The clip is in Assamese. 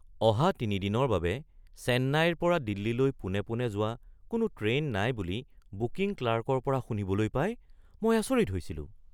অহা তিনি দিনৰ বাবে চেন্নাইৰ পৰা দিল্লীলৈ পোনে পোনে যোৱা কোনো ট্ৰেইন নাই বুলি বুকিং ক্লাৰ্কৰ পৰা শুনিবলৈ পাই মই আচৰিত হৈছিলো।